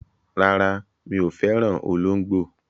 Rárá, mi ò fẹ́ràn olóńgbò.